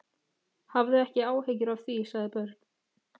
Hafðu ekki áhyggjur af því, sagði Björg.